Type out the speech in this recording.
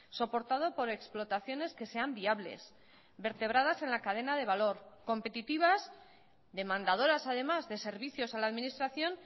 soportado por explotaciones que sean viables vertebradas en la cadena de valor competitivas demandadoras además de servicios a la administración